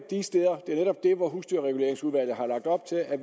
de steder hvor husdyrreguleringsudvalget har lagt op til at